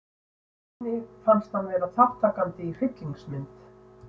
Erni fannst hann vera þátttakandi í hryllingsmynd.